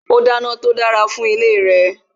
ó dáná tó dára fún ìdílé re